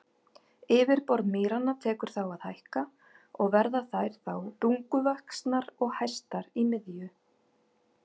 Yfirborð mýranna tekur þá að hækka og verða þær þá bunguvaxnar og hæstar í miðju.